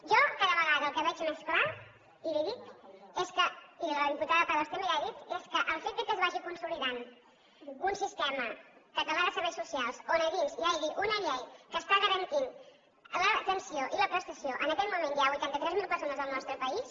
jo cada vegada el que veig més clar i li ho dic i la diputada prados també li ho ha dit és que el fet que es vagi consolidant un sistema català de serveis socials on a dins hi hagi una llei que està garantint l’atenció i la prestació en aquest moment ja a vuitanta tres mil persones al nostre país